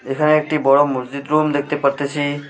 এখানে একটি বড় মসজিদ রুম দেখতে পারতেছি।